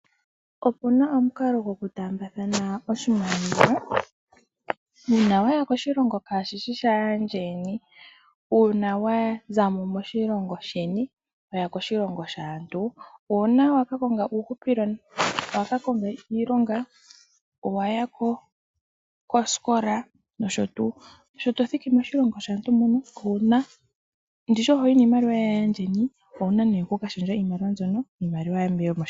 Opuna omukalo goku taambathana oshimaliwa uuna weya koshilongo kaashishi sha yeni. Uuna wazamo moshilingo sheni wa ya koshilongo shaantu, owu na oku konga uuhupilo mokukanga iilonga, owa kosikola, nosho tuu. Owuna oku lundululila oshimaliwa shoye moshilongo moka.